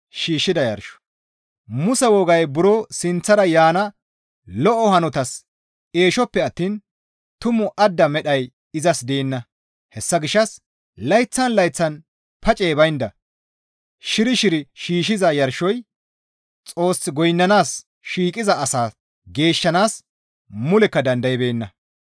Muse wogay buro sinththara yaana lo7o hanotas eeshoppe attiin tumu adda medhay izas deenna; hessa gishshas layththan layththan pacey baynda shiri shiri shiishshiza yarshoy Xoos goynnanaas shiiqiza asaa geeshshanaas mulekka dandaybeenna.